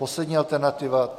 Poslední alternativa.